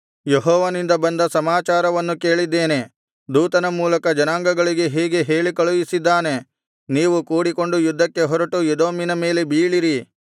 ಯೆಹೋವನಿಂದ ಬಂದ ಸಮಾಚಾರವನ್ನು ಕೇಳಿದ್ದೇನೆ ದೂತನ ಮೂಲಕ ಜನಾಂಗಗಳಿಗೆ ಹೀಗೆ ಹೇಳಿ ಕಳುಹಿಸಿದ್ದಾನೆ ನೀವು ಕೂಡಿಕೊಂಡು ಯುದ್ಧಕ್ಕೆ ಹೊರಟು ಎದೋಮಿನ ಮೇಲೆ ಬೀಳಿರಿ